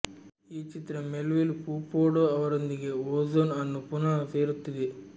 ಈ ಚಿತ್ರ ಮೆಲ್ವಿಲ್ ಪೌಪೂಡೋ ಅವರೊಂದಿಗೆ ಓಝೋನ್ ಅನ್ನು ಪುನಃ ಸೇರಿಸುತ್ತಿದೆ